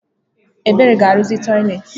Ebere ga arụzi toịletị.